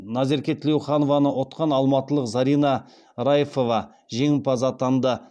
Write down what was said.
назерке тілеуханованы ұтқан алматылық зарина райфова жеңімпаз атанды